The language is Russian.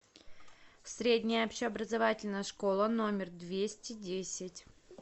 средняя общеобразовательная школа номер двести десять